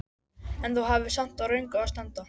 En þú hafðir samt á röngu að standa!